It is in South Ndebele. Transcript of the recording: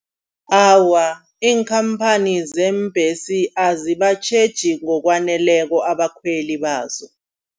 Awa iinkhamphani zeembesi azibatjheji ngokwaneleko abakhweli bazo.